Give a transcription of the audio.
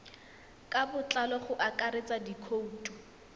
ka botlalo go akaretsa dikhoutu